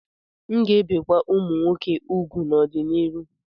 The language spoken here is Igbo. M'gēbì kwa umum nwoke úgwù n'ọdi-n'iru.